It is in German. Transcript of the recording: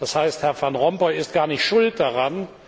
Das heißt, Herr van Rompuy ist gar nicht schuld daran.